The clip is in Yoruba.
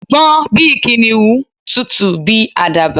Gbọ́n bíi Kìnìún! Tutù bíi àdàbà